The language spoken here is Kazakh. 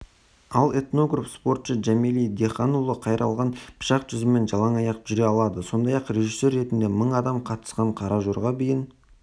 ал этнограф спортшы жәмәли диханұлы қайралған пышақ жүзімен жалаң аяқ жүре алады сондай-ақ режиссер ретінде мың адам қатысқан қара жорға биін